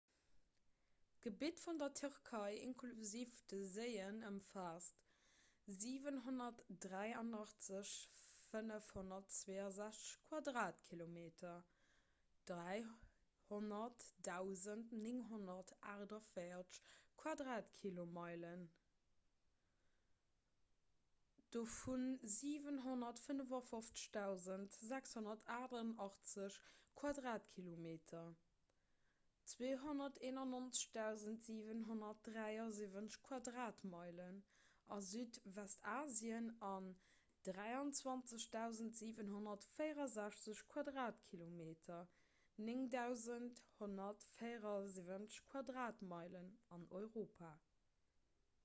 d'gebitt vun der tierkei inklusiv de séien ëmfaasst 783 562 quadratkilometer 300 948 quadratmeilen dovu 755 688 quadratkilometer 291 773 quadratmeilen a südwestasien an 23 764 quadratkilometer 9 174 quadratmeilen an europa